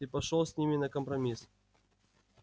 ты пошёл с ними на компромисс